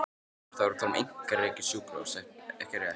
Lára: Þá erum við að tala um einkarekið sjúkrahús ekki rétt?